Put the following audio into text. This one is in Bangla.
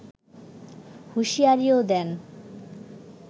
হুঁশিয়ারিও দেন